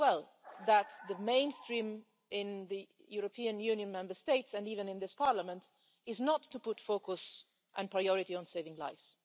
know very well that the mainstream in the European Union Member States and even in this Parliament is not to put focus and priority on saving lives.